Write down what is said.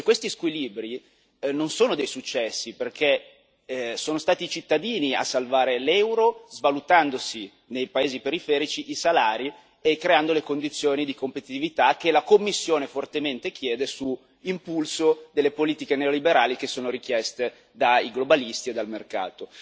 Questi squilibri non sono dei successi, perché sono stati i cittadini a salvare l'euro, svalutandosi nei paesi periferici i salari e creando le condizioni di competitività che la Commissione fortemente chiede, su impulso delle politiche neoliberali che sono richieste dai globalisti e dal mercato.